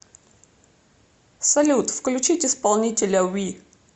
салют включить исполнителя ви